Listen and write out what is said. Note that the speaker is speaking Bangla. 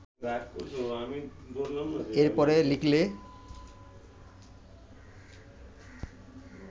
এর পরে লিখলে